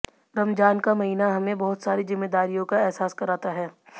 रमजान का महीना हमें बहुत सारी जिम्मेदारियों का अहसास कराता है